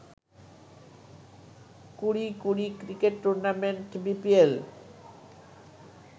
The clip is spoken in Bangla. ২০-২০ ক্রিকেট টুর্নামেন্ট বিপিএল